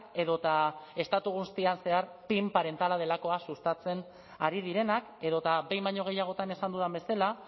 edota estatu guztian zehar pin parentala delakoa sustatzen ari direnak edota behin baino gehiagotan esan dudan bezala